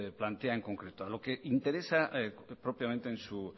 plantea en concreto a lo que interesa propiamente en su